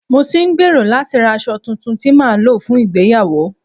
Mo ti ń gbèrò láti ra aṣọ tuntun tí màá lò fún ìgbéyàwó